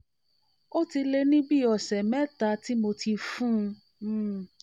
ó ti lé ní bi lé ní bi ọ̀sẹ̀ um mẹ́ta tí mo ti fún um un